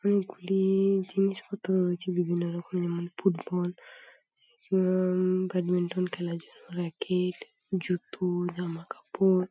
অনেকগুলি-ই- জিনিসপত্র রয়েছে বিভিন্ন রকমের ফুটবল উম-ম- ব্যাডমিন্টন খেলার জন্য র‍্যাকেট জুতো জামাকাপড়--